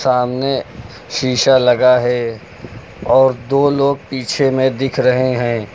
सामने शीशा लगा है और दो लोग पीछे में दिख रहे हैं।